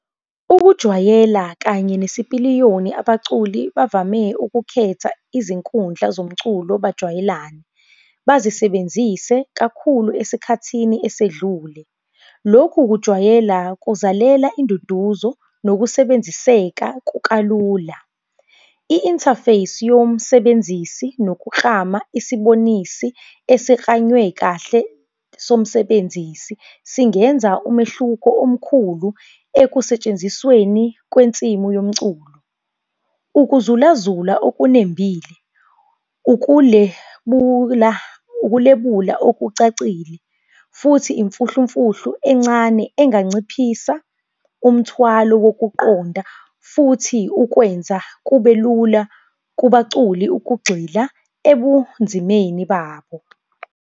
Ukujwayela kanye nesipiliyoni abaculi bavame ukukhetha izinkundla zomculo bajwayelane. Bazisebenzise kakhulu esikhathini esedlule. Lokhu kujwayela, kuzalela induduzo nokusebenziseka kukalula. I-interface yomsebenzisi nokuklama isibonisi esiklanywe kahle somsebenzisi singenza umehluko omkhulu ekusentshenzisweni kwensimu yomculo. Ukuzulazula okunembile, ukulebula, ukulebula okucacile futhi imfuhlumfuhlu encane enganciphisa umthwalo wokuqonda futhi ukwenza kubelula kubaculi ukugxila ebunzimeni babo.